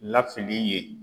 Lafili yen